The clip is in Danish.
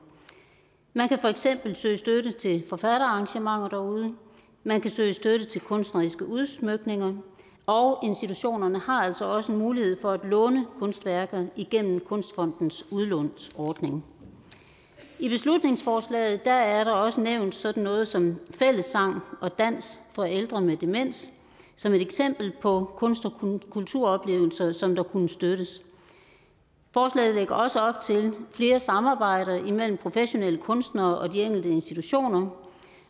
man kan for eksempel søge støtte til forfatterarrangementer derude man kan søge støtte til kunstneriske udsmykninger og institutionerne har altså også en mulighed for at låne kunstværker igennem kunstfondens udlånsordning i beslutningsforslaget er der også nævnt sådan noget som fælles sang og dans for ældre med demens som et eksempel på kunst og kulturoplevelser som der kunne støttes forslaget lægger også op til flere samarbejder imellem professionelle kunstnere og de enkelte institutioner